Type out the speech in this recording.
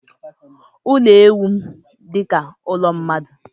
Ụlọ ewu m dịka ụlọ mmadụ.